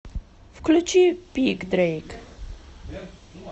включи пик дрейк